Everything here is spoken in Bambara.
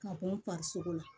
Ka bɔ n farisoko la